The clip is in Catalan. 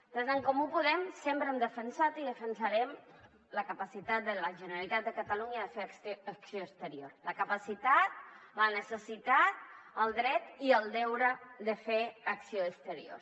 des d’en comú podem sempre hem defensat i defensarem la capacitat de la generalitat de catalunya de fer acció exterior la capacitat la necessitat el dret i el deure de fer acció exterior